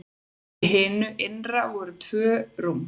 Í hinu innra voru tvö rúm.